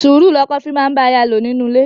Sùúrù ni ọkọ fi máa ń bá aya lò nínú ilé.